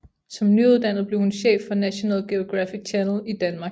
Som nyuddannet blev hun chef for National Geographic Channel i Danmark